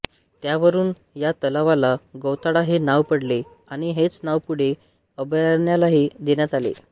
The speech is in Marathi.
त्यावरून या तलावाला गौताळा हे नाव पडले आणि हेच नाव पुढे अभयारण्यालाही देण्यात आले